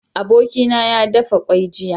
Abokina ya dafa kwai jiya